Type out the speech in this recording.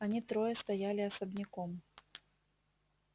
они трое стояли особняком